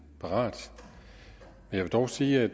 parat jeg vil dog sige at